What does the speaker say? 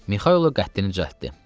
Mixaylov qəddini düzəltdi.